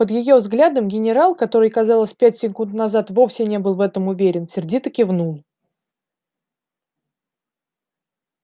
под её взглядом генерал который казалось пять секунд назад вовсе не был в этом уверен сердито кивнул